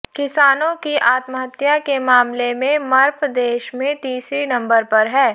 किसानों की आत्महत्या के मामले में मप्र देश में तीसरे नंबर पर है